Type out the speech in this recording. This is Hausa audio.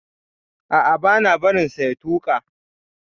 A'a, bana barin sa ya tuka.